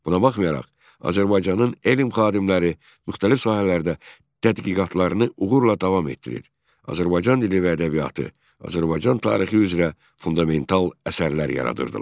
Buna baxmayaraq, Azərbaycanın elm xadimləri müxtəlif sahələrdə tədqiqatlarını uğurla davam etdirir, Azərbaycan dili və ədəbiyyatı, Azərbaycan tarixi üzrə fundamental əsərlər yaradırdılar.